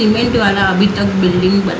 के द्वारा अभी तक बिल्डिंग बनी--